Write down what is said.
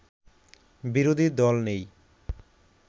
বিরোধী দল নেই